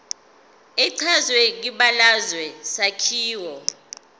echazwe kwibalazwe isakhiwo